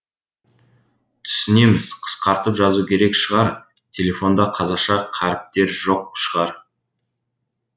түсінеміз қысқартып жазу керек шығар телефонда қазақша қаріптер жоқ шығар